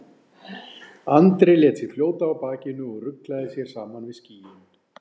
Andri lét sig fljóta á bakinu og ruglaði sér saman við skýin.